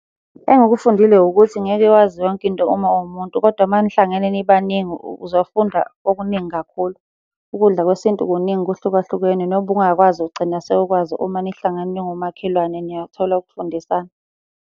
Engikufundile ukuthi ngeke wazi yonke into uma uwumuntu, kodwa uma nihlangene nibaningi uzofunda okuningi kakhulu. Ukudla kwesintu kuningi kuhlukahlukene nobungakwazi ugcina sewukwazi uma nihlangene niwomakhelwane niyathola ukufundisana.